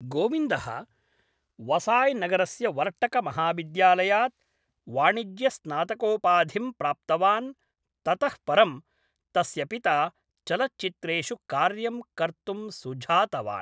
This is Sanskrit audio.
गोविन्दः वसाय् नगरस्य वर्टकमहाविद्यालयात् वाणिज्यस्नातकोपाधिं प्राप्तवान् ततः परं तस्य पिता चलच्चित्रेषु कार्यं कर्तुं सुझातवान् ।